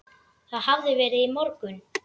Það hafði verið í morgun.